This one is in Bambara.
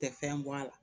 Tɛ fɛn bɔ a la